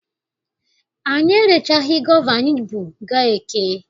Anyị erechaghị gova anyị bu gaa eke.